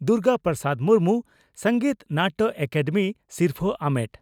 Durga Prasad Murmu Sangeet Natak academy ᱥᱤᱨᱯᱷᱟᱹ ᱟᱢᱮᱴ